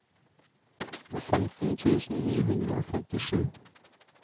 femten tusen ni hundre og femtisju